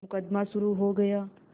मुकदमा शुरु हो गया